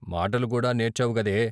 మాటలు కూడా నేర్చావుగదే!